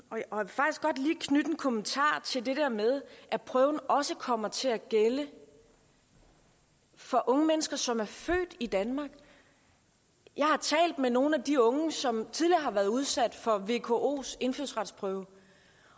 kommentar til det der med at prøven også kommer til at gælde for unge mennesker som er født i danmark jeg har talt med nogle af de unge som tidligere har været udsat for vkos indfødsretsprøve